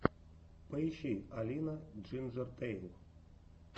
поищи алина джинджертэйл